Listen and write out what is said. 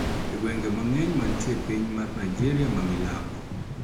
E gwenge mang`eny mantie piny mar Nigeria ma milambo